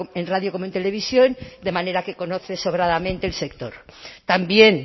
en radio como en televisión de manera que conoce sobradamente el sector también